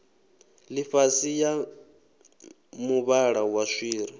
ḽifhasi ya muvhala wa swiri